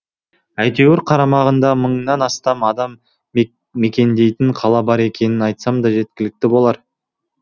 әйтеуір қарамағында мыңнан астам адам мекендейтін қала бар екенін айтсам да жеткілікті болар